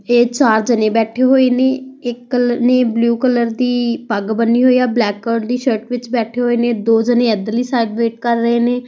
ਇਹ ਚਾਰ ਜਾਨੇ ਬੈਠੇ ਹੋਏ ਨੇ ਇੱਕ ਨੇ ਬਲੂ ਕਲਰ ਦੀ ਪੱਗ ਬੰਨੀ ਹੋਈ ਆ ਬਲੈਕ ਕਲਰ ਦੀ ਸ਼ਾਲਟ ਵਿੱਚ ਬੈਠੇ ਹੋਏ ਨੇ ਦੋ ਜਾਨੇ ਇੱਧਰਲੀ ਸਾਈਡ ਵੇਟ ਕਰ ਰਹੇ ਨੇ --